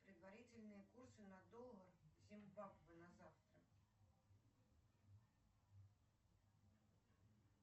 предварительные курсы на доллар зимбабве на завтра